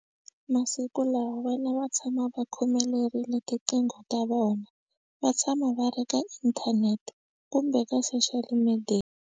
Masiku lawa vana va tshama va khomelerile tiqingho ta vona va tshama va ri ka inthanete kumbe ka social media.